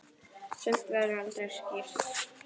Sumt verður aldrei skýrt.